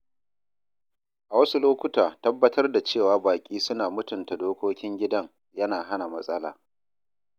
A wasu lokuta, tabbatar da cewa baƙi suna mutunta dokokin gidan yana hana matsala.